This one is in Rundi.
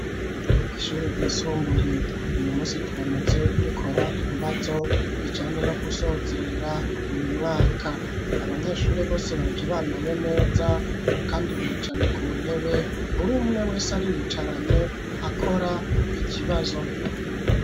Ishuri ryisumbuye, uyu munsi turamutse dukora ibibazo, bijanye no gusozera uyu mwaka, aAbanyeshuri bose baje bambaye neza, kandi bicaye ku ntebe, uri umwe wese ariyicaranye akora ikibazo.